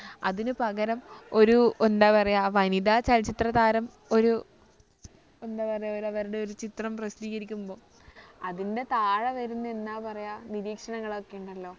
അതിനു പകരം ഒരു എന്താ പറയാ വനിതാ ചലച്ചിത്ര താരം ഒരു എന്താ പറയാ ഒരു അവരുടെ ഒരു ചിത്രം പ്രസിദ്ധീകരിക്കുമ്പോൾ അതിൻ്റെ താഴെ വരുന്ന എന്താ പറയാ നിരീക്ഷണങ്ങളൊക്കെ ഉണ്ടല്ലോ